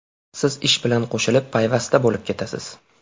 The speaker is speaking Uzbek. Siz ish bilan qo‘shilib payvasta bo‘lib ketasiz.